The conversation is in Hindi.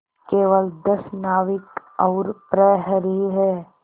केवल दस नाविक और प्रहरी है